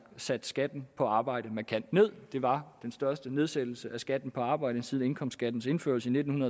sat skatten på arbejde markant nederst det var den største nedsættelse af skatten på arbejde siden indkomstskattens indførelse i nitten